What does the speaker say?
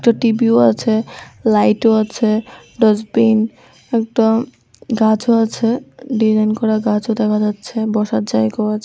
একটা টিভিও আছে লাইটও আছে ডাস্টবিন একটা গাছও আছে ডিজাইন করা গাছও দেখা যাচ্ছে বসার জায়গাও আছে।